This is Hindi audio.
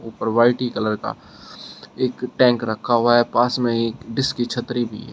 और व्हाइट ही कलर का एक टैंक रखा हुआ है पास में ही इसकी छतरी भी है।